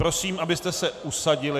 Prosím, abyste se usadili.